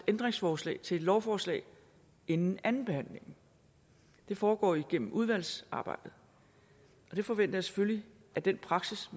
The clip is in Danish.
ændringsforslag til et lovforslag inden andenbehandlingen det foregår igennem udvalgsarbejdet og jeg forventer selvfølgelig at den praksis